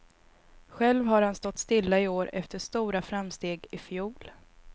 Själv har han stått stilla i år efter stora framsteg i fjol.